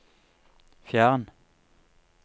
fjern